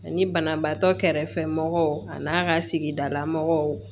Ani banabaatɔ kɛrɛfɛmɔgɔw a n'a ka sigidalamɔgɔw